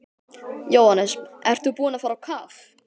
Jóhannes: Ertu búinn að fara á kaf?